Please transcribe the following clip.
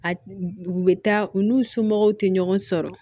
A u bɛ taa u n'u somɔgɔw te ɲɔgɔn sɔrɔ